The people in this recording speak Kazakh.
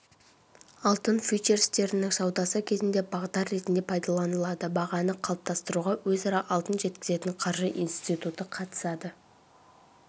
алтын фьючерстерінің саудасы кезінде бағдар ретінде пайдаланылады бағаны қалыптастыруға өзара алтын жеткізетін қаржы институты қатысады